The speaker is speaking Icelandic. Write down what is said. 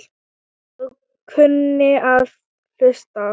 Og kunni að hlusta.